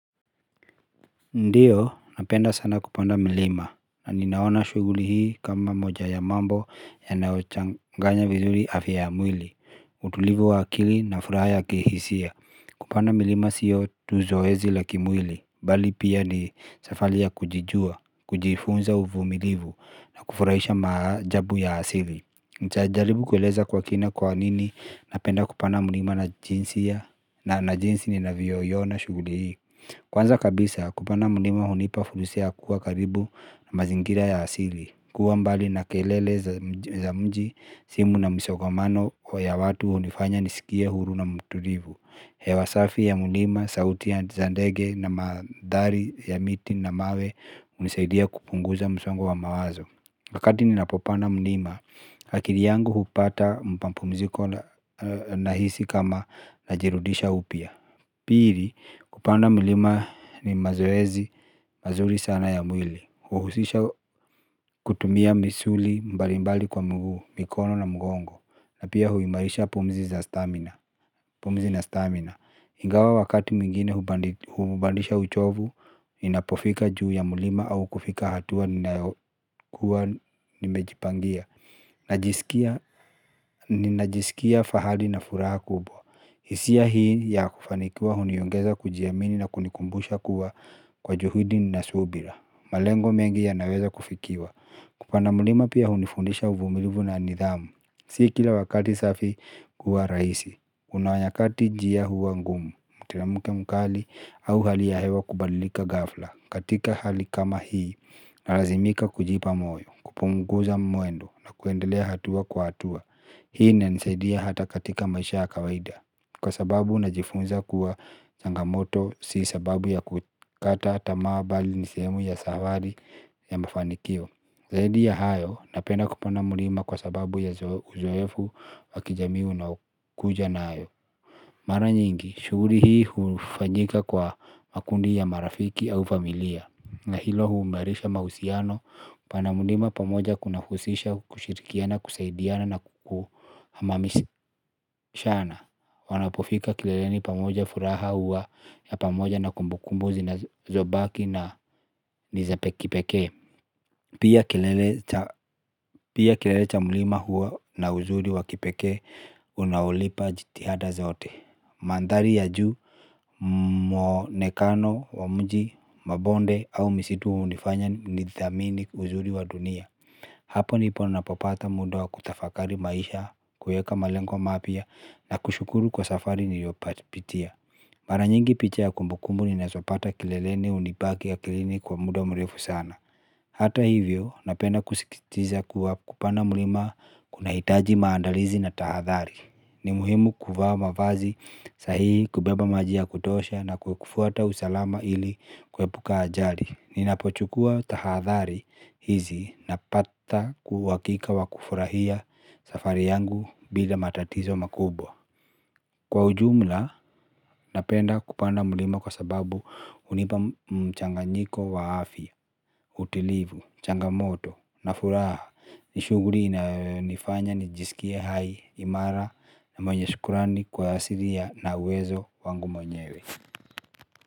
Ndiyo, napenda sana kupanda milima, na ninaona shuguli hii kama moja ya mambo yanaochanganya vizuri afya ya mwili, utulivu wa akili na furaha ya kihisia, kupanda milima sio tu zoezi la kimwili, bali pia ni safali ya kujijua, kujifunza uvumilivu, na kufurahisha majabu ya asili. Nchajaribu kueleza kwa kina kwa nini, napenda kupanda milima na jinsi ya, na na jinsi ninavioyona shuguli hii. Kwanza kabisa kupanda mlima hunipa fulsa kuwa karibu na mazingira ya asili. Kuwa mbali na kelele za mji simu na msogomano wa ya watu hunifanya nisikie huru na mtulivu. Hewasafi ya mlima, sauti ya za ndege na madari ya miti na mawe unisaidia kupunguza msongo wa mawazo. Wakati ninapopanda mlima, hakiri yangu hupata mpampumziko na hisi kama na jirudisha upia. Piri, kupanda mlima ni mazoezi, mazuri sana ya mwili. Uhusisha kutumia misuli mbalimbali kwa mguu, mikono na mgongo na pia huimarisha pumzi na stamina. Ingawa wakati muingine hubandisha uchovu. Ninapofika juu ya mlima au kufika hatua nimejipangia. Ninajisikia fahali na furaha kubwa. Hisia hii ya kufanikiwa uniyongeza kujiyamini na kunikumbusha kuwa kwa juhidi ninasubira. Malengo mengi yanaweza kufikiwa. Kupanda mlima pia unifundisha uvumilivu na nidhamu. Si kila wakati safi kuwa raisi. Unawanyakati jia huwa ngumu. Mteremuke mkali au hali ya hewa kubalika gafla. Katika hali kama hii na razimika kujipa moyo. Kupunguza mwendo na kuendelea hatua kwa hatua. Hii inanisedia hata katika ya maisha kawaida. Kwa sababu najifunza kuwa changamoto si sababu ya kukata tamaa bali nisemu ya safari ya mafanikio. Zaidi ya hayo napenda kupanda mlima kwa sababu ya uzoefu wa kijami unaokuja na hayo. Mara nyingi, shughuri hii hufanyika kwa makundi ya marafiki au familia. Na hilo huimarisha mahusiano, pana mlima pamoja kunahusisha kushirikiana, kusaidiana na kukuhamamishana. Wanapofika kileleni pamoja furaha hua ya pamoja na kumbukumbu zinazobaki na ni za kipekee. Pia kilele cha mlima hua na uzuri wa kipekee unaolipa jitihada zote. Manthari ya juu, mwonekano, wa mji, mabonde au misitu hunifanya nithamini uzuri wa dunia. Hapo nipo napopata muda wa kutafakari maisha, kueka malengwa mapya na kushukuru kwa safari niliyopatia. Mara nyingi picha ya kumbukumbu ninazopata kileleni hunibaki akilini kwa muda mrefu sana. Hata hivyo, napenda kusisitiza kuwa kupanda mlima kunahitaji maandalizi na tahathari. Ni muhimu kuvaa mavazi sahihi kubeba maji ya kutosha na kufuata usalama ili kuebuka ajali. Ninapochukua tahadhari hizi napata kwa uhakika wa kufurahia safari yangu bila matatizo makubwa. Kwa ujumla napenda kupanda mlima kwa sababu hunipa mchanganyiko wa afya, utilivu, changamoto na furaha. Ni shughuli inayonifanya nijisikie hai imara na mwenye shukurani kwa asiri ya na uwezo wangu mwenyewe.